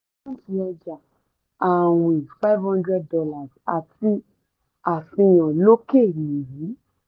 àkántì ọjà-àwìn five hundred dollars àti àfihàn lókè ni yìí